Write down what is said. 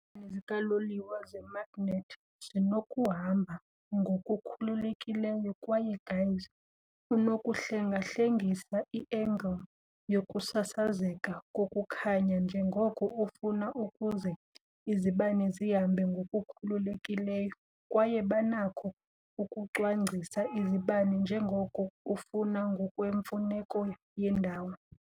Izibane zikaloliwe zemagnethi zinokuhamba ngokukhululekileyo, kwaye guys unokuhlengahlengisa i-engile yokusasazeka kokukhanya njengoko ufuna, ukuze izibane zihambe ngokukhululekileyo, kwaye banakho ukucwangcisa izibane njengoko ufuna ngokwemfuneko yendawo.